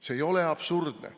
See ei ole absurdne.